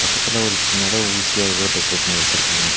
பக்கத்துல ஒரு சின்னதா ஊசியா ஏதோ டெக்ரேட் பண்ணி வெச்சுருக்காங்க.